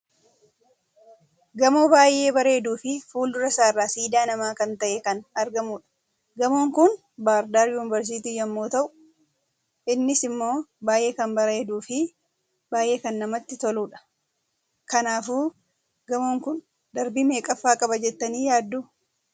Gamoo baay'ee bareeduu fi fuldura isaarra siidaa namaa kan ta'e kan argamudha. Gamoon kuni bar dar yuunveersiti yemmu ta'u, innis immoo baay'ee kan bareeduu fi baay'ee kan namatti toludha. kanaafuu gamoon kun darbii meeqaffa qaba jettani yaaddu?